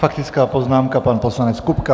Faktická poznámka, pan poslanec Kupka.